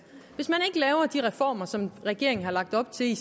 hvis man ikke laver de reformer som regeringen har lagt op til i